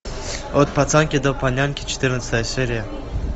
от пацанки до панянки четырнадцатая серия